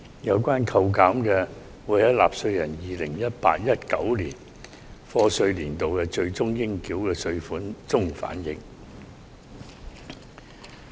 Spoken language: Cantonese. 有關扣減會在納稅人 2018-2019 課稅年度的最終應繳稅款中反映。